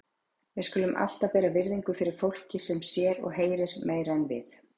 Við skulum alltaf bera virðingu fyrir fólki sem sér og heyrir meira en við.